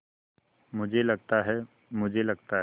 मुझे लगता है मुझे लगता है